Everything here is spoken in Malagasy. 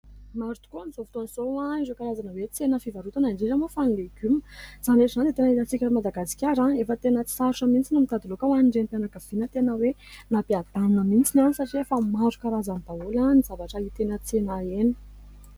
Maro tokoa amin'izao fotoana ireo ny karazana hoe tsena fivarotana indrindra moa fa ny legioma izany rehetra izany tena hitantsika eto Madagasikara ; efa tena tsy sarotra mihitsy no mitady laoka ho an'ny Renim-mpianakaviana ; tena hoe nampiadana mihitsiny satria efa maro karazany daholo ny zavatra hita eny an-tsena eny.